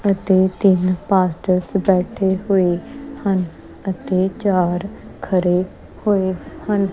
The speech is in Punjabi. ਅਤੇ ਤਿੰਨ ਪਾਸਟਰ ਬੈਠੇ ਹੋਏ ਹਨ ਅਤੇ ਚਾਰ ਖੜੇ ਹੋਏ ਹਨ।